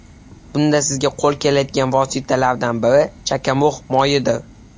Bunda sizga qo‘l keladigan vositalardan biri chakamug‘ moyidir.